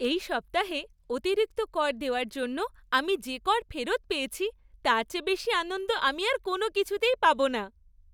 এই সপ্তাহে অতিরিক্ত কর দেওয়ার জন্য আমি যে কর ফেরত পেয়েছি তার চেয়ে বেশি আনন্দ আমি আর কোনও কিছুতেই পাব না।